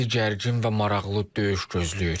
Bizi gərgin və maraqlı döyüş gözləyir.